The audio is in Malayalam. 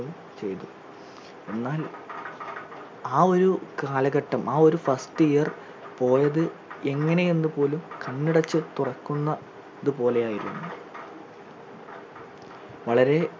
യും ചെയ്തു എന്നാൽ ആ ഒരു കാലഘട്ടം ആ ഒരു first year പോയത് എങ്ങനെ എന്ന് പോലും കണ്ണടച്ച് തുറക്കുന്നത് പോലെ ആയിരുന്നു വളരെ